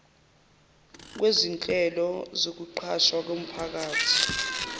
kwezinhlelo zokuqashwa komphakathi